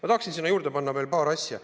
Ma tahaksin juurde öelda veel paar asja.